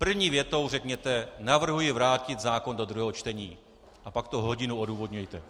První větou řekněte "navrhuji vrátit zákon do druhého čtení", a pak to hodinu odůvodňujte.